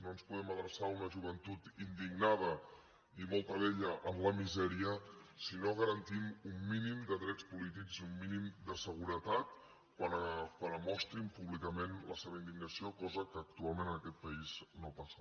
no ens podem adreçar a una joventut indignada i molta d’ella en la misèria si no garantim un mínim de drets polítics i un mínim de seguretat quan mostrin públicament la seva indignació cosa que actualment en aquest país no passa